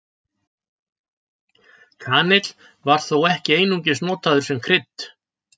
Kanill var þó ekki einungis notaður sem krydd.